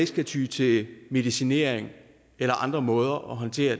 skal ty til medicinering eller andre måder at håndtere